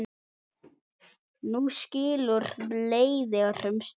Nú skilur leiðir um stund.